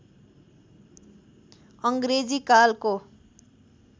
अङ्ग्रेजी कालको